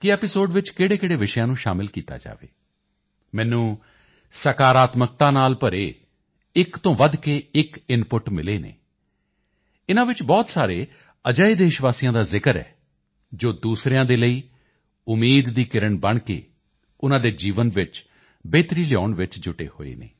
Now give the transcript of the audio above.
ਕਿ ਐਪੀਸੋਡ ਵਿੱਚ ਕਿਹੜੇਕਿਹੜੇ ਵਿਸ਼ਿਆਂ ਨੂੰ ਸ਼ਾਮਿਲ ਕੀਤਾ ਜਾਵੇ ਮੈਨੂੰ ਸਕਾਰਾਤਮਕਤਾ ਨਾਲ ਭਰੇ ਇਕ ਤੋਂ ਵੱਧ ਕੇ ਇਕ ਇਨਪੁਟ ਮਿਲੇ ਹਨ ਇਨ੍ਹਾਂ ਵਿੱਚ ਬਹੁਤ ਸਾਰੇ ਅਜਿਹੇ ਦੇਸ਼ਵਾਸੀਆਂ ਦਾ ਜ਼ਿਕਰ ਹੈ ਜੋ ਦੂਸਰਿਆਂ ਦੇ ਲਈ ਉਮੀਦ ਦੀ ਕਿਰਨ ਬਣ ਕੇ ਉਨ੍ਹਾਂ ਦੇ ਜੀਵਨ ਵਿੱਚ ਬਿਹਤਰੀ ਲਿਆਉਣ ਵਿੱਚ ਜੁਟੇ ਹੋਏ ਹਨ